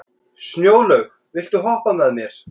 Snjólaug, viltu hoppa með mér?